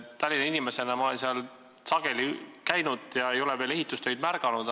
Tallinna inimesena ma olen seal kandis sageli käinud ja ei ole veel ehitustöid märganud.